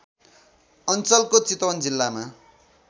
अञ्चलको चितवन जिल्लामा